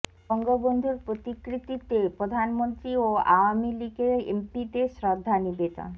বঙ্গবন্ধুর প্রতিকৃতিতে প্রধানমন্ত্রী ও আওয়ামী লীগের এমপিদের শ্রদ্ধা নিবেদন